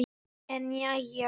En jæja.